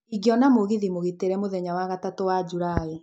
ingĩona mũgithi mũgitĩre mũthenya wa gatatũ wa Julaĩ